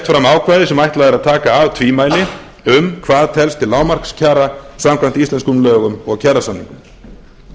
fram ákvæði sem ætlað er að taka af tvímæli um hvað telst til lágmarkskjara samkvæmt íslenskum lögum og kjarasamningum